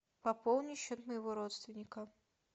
пополни счет моего родственника